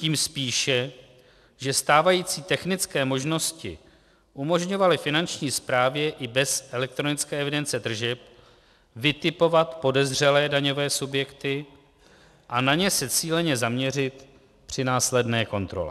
Tím spíše, že stávající technické možnosti umožňovaly Finanční správě i bez elektronické evidence tržeb vytipovat podezřelé daňové subjekty a na ně se cíleně zaměřit při následné kontrole.